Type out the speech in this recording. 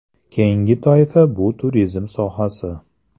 Keyingi toifa bu turizm sohasi.